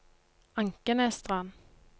Ankenesstrand